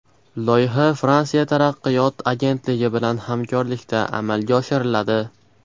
Loyiha Fransiya taraqqiyot agentligi bilan hamkorlikda amalga oshiriladi.